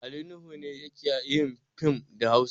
Ali Nuhu ne yake yin fim da Hausa.